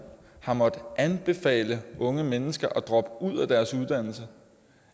har måttet anbefale unge mennesker at droppe ud af deres uddannelse